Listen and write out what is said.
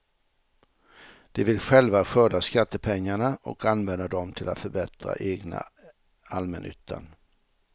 De vill själva skörda skattepengarna och använda dom till att förbättra egna allmännyttan.